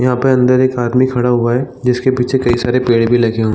यहाँ पर अंदर एक आदमी खड़ा हुआ है जिसके पीछे कई सारे पेड़ भी लगे हु --